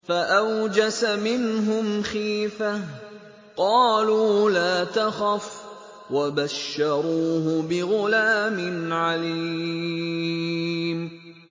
فَأَوْجَسَ مِنْهُمْ خِيفَةً ۖ قَالُوا لَا تَخَفْ ۖ وَبَشَّرُوهُ بِغُلَامٍ عَلِيمٍ